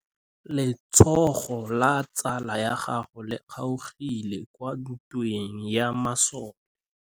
Letsôgô la tsala ya gagwe le kgaogile kwa ntweng ya masole.